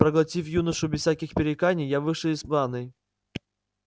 проглотив юношу без всяких пререканий я вышел из ванной